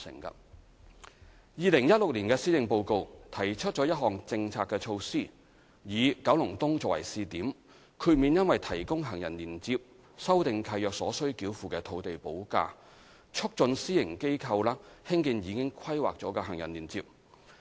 2016年施政報告提出一項政策措施，以九龍東作為試點，豁免因提供行人連接修訂契約所須繳付的土地補價，促進私營機構興建已規劃的行人連接。